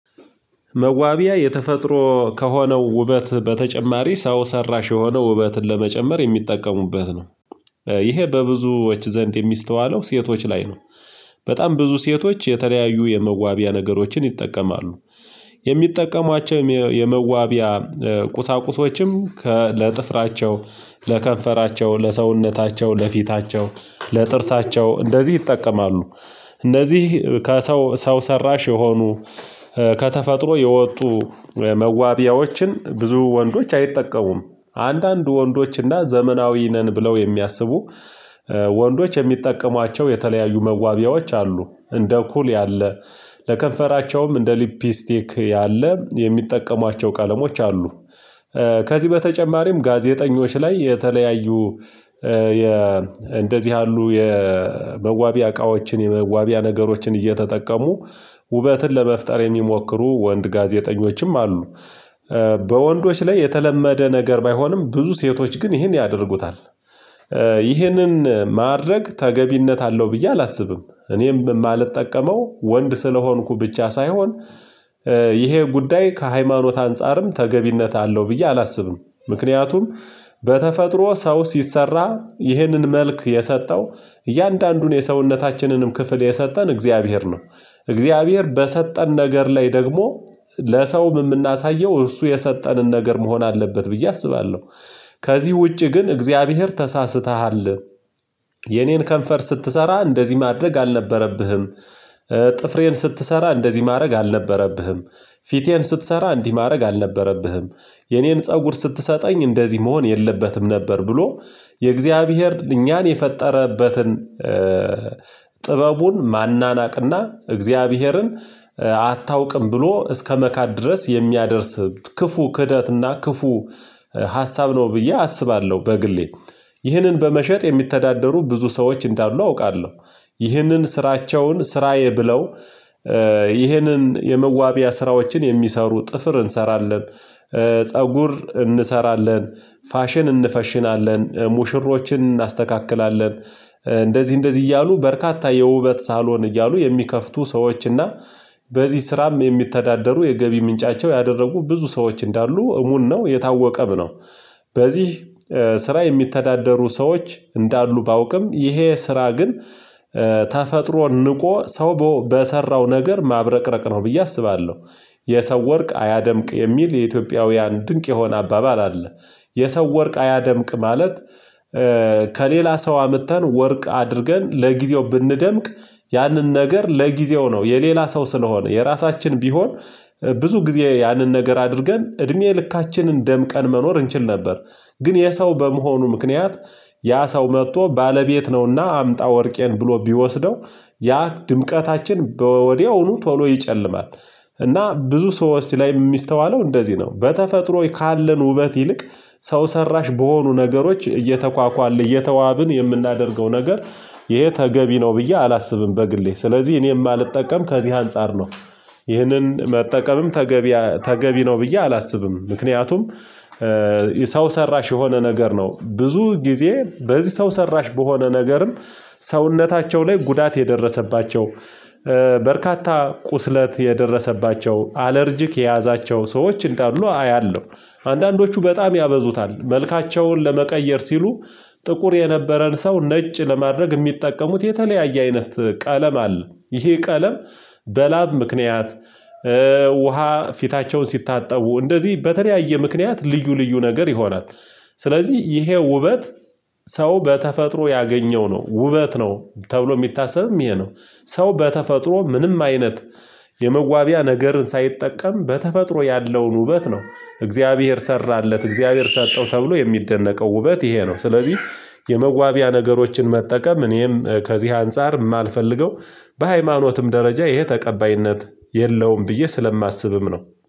መዋቢያ የተፈጥሮ ከሆነው ውበት በተጨማሪ ሰው ሰራሽ የሆነው ውበትን ለመጨመር የሚጠቀሙበት ነው። ይሄ በብዙዎች ዘንድ የሚስተዋለው ሴቶች ላይ ነው። በጣም ብዙ ሴቶች የተለያዩ የመዋቢያ ነገሮችን ይጠቀማሉ። የሚጠቀሟቸው የመዋቢያ ቁሳቁሶችም ከለጥፍራቸው ለከንፈራቸው ለሰውነታቸው ለፊታቸው ለጥርሳቸው እንደዚህ ይጠቀማሉ። እንደዚህ ከሰው ሰው ሰራሽ የሆኑ ከተፈጥሮ የወጡ መዋቢያዎችን ብዙ ወንዶች አይጠቀሙም። አንዳንድ ወንዶች እና ዘመናዊ ነን ብለው የሚያስቡ ወንዶች የሚጠቀሟቸው የተለያዩ መዋቢያዎች አሉ እንደ ኩል ያለ። ለከንፈራቸውም እንደ ሊፕስቲክ ያለ የሚጠቀሟቸው ቀለሞች አሉ። ከዚህ በተጨማሪም ጋዜጠኞች ላይ የተለያዩ የ እንደዚህ ያሉ የመዋቢ እቃዎችን የመዋቢያ ነገሮችን እየተጠቀሙ ውበትን ለመፍጠር የሚሞክሩ ወንድ ጋዜጠኞችም አሉ። በወንዶች ላይ የተለመደ ነገር ባይሆንም ብዙ ሴቶች ግን ይህን ያደርጉታል። ይህንን ማድረግ ተገቢነት አለው ብዬ አላስብም እኔም የማልጠቀመው ወንድ ስለሆንኩ ብቻ ሳይሆን። ይሄ ጉዳይ ከሃይማኖት አንፃርም ተገቢነት አለው ብዬ አላስብም። ምክንያቱም በተፈጥሮ ሰው ሲሰራ ይህንን መልክ የሰጠው እያንዳንዱን የሰውነታችንንም ክፍል የሰጠን እግዚአብሔር ነው። እግዚአብሔር በሰጠን ነገር ላይ ደግሞ ለሰውም የምናሳየው እርሱ የሰጠንን ነገር መሆን አለበት ብዬ አስባለሁ። ከዚህ ውጪ ግን እግዚአብሔር ተሳስተሃል። የኔን ከንፈር ስትሰራ እንደዚህ ማድረግ አልነበረብህም። ጥፍሬን ስትሰራ እንደዚህ ማድረግ አልነበረብህም። ፊቴን ስትሰራ እንዲህ ማድረግ አልነበረብህም። የኔን ፀጉር ስትሰጠኝ እንደዚህ መሆን የለበትም ነበር ብሎ የእግዚአብሔር እኛን የፈጠረበትን። ጥበቡን ማናናቅና እግዚአብሔርን አታውቅም ብሎ እስከመካድ ድረስ የሚያደርስ ክፉ ክህደት እና ክፉ ሀሳብ ነው ብዬ አስባለሁ። በግሌ ይህንን በመሸጥ የሚተዳደሩ ብዙ ሰዎች እንዳሉ አውቃለሁ። ይህንን ስራቸውን ስራዬ ብለው ይህንን የመዋቢያ ስራዎችን የሚሰሩ ጥፍር እንሰራለን። ፀጉር እንሰራለን ፋሽን እንፈሽናለን ሙሽሮችን እናስተካክላለን። እንደዚህ እንደዚህ እያሉ በርካታ የውበት ሳሎን እያሉ የሚከፍቱ ሰዎች እና በዚህ ስራም የሚተዳደሩ የገቢ ምንጫቸው ያደረጉ ብዙ ሰዎች እንዳሉ እሙን ነው የታወቀም ነው። በዚህ ስራ የሚተዳደሩ ሰዎች እንዳሉ ባውቅም ይሄ ስራ ግን ተፈጥሮን ንቆ ሰው በሰራው ነገር ማብረቅረቅ ነው ብዬ አስባለሁ። የሰው ወርቅ አያደምቅ የሚል የኢትዮጵያውያን ድንቅ የሆነ አባባል አለ። የሰው ወርቅ አያደምቅ ማለት ከሌላ ሰው አምጥተን ወርቅ አድርገን ለጊዜው ብንደምቅ ያንን ነገር ለጊዜው ነው የሌላ ሰው ስለሆነ የራሳችን ቢሆን ብዙ ጊዜ ያንን ነገር አድርገን እድሜ ልካችንን ደምቀን መኖር እንችል ነበር። ግን የሰው በመሆኑ ምክንያት ያ ሰው መጥቶ ባለቤት ነውና አምጣ ወርቄን ብሎ ቢወስደው ያ ድምቀታችን ወዲያውኑ ቶሎ ይጨልማል። እና ብዙ ሰዎች ላይ የሚስተዋለው እንደዚህ ነው በተፈጥሮ ካለን ውበት ይልቅ ሰው ሰራሽ በሆኑ ነገሮች እየተኳኳልን እየተዋብን የምናደርገው ነገር ይሄ ተገቢ ነው ብዬ አላስብም በግሌ። ስለዚህ እኔ የማልጠቀም ከዚህ አንፃር ነው። ይህንን መጠቀምም ተገቢ ነው ብዬ አላስብም። ምክንያቱም የሰው ሰራሽ የሆነ ነገር ነው ብዙ ጊዜ በዚህ ሰው ሰራሽ በሆነ ነገርም ሰውነታቸው ላይ ጉዳት የደረሰባቸው በርካታ ቁስለት የደረሰባቸው አለርጅክ የያዛቸው ሰዎች እንዳሉ አያለሁ። አንዳንዶቹ በጣም ያበዙታል መልካቸውን ለመቀየር ሲሉ ጥቁር የነበረን ሰው ነጭ ለማድረግ የሚጠቀሙት የተለያየ አይነት ቀለም አለ ይሄ ቀለም በላብ ምክንያት ውሃ ፊታቸውን ሲታጠቡ እንደዚህ በተለያየ ምክንያት ልዩ ልዩ ነገር ይሆናል። ስለዚህ ይሄ ውበት ሰው በተፈጥሮ ያገኘው ነው ውበት ነው። ተብሎ የሚታሰብም ይሄ ነው። ሰው በተፈጥሮ ምንም አይነት የመዋቢያ ነገርን ሳይጠቀም በተፈጥሮ ያለውን ውበት ነው። እግዚአብሔር ሰራለት እግዚአብሔር ሰጠው ተብሎ የሚደነቀው ውበት ይሄ ነው። ስለዚህ የመዋቢያ ነገሮችን መጠቀም እኔም ከዚህ አንፃር የማልፈልገው በሃይማኖትም ደረጃ ይሄ ተቀባይነት የለውም ብዬ ስለማስብም ነው